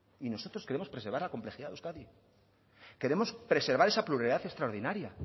y nosotros queremos preservar la complejidad de euskadi queremos preservar esa pluralidad extraordinaria